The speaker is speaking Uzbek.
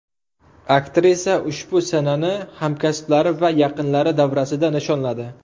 Aktrisa ushbu sanani hamkasblari va yaqinlari davrasida nishonladi.